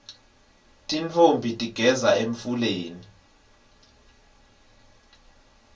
tintfombi tigeza emfuleni